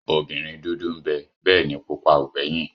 Obìnrin dúdú ń bẹ bẹ́ẹ̀ ni pupa ò gbẹ́yìn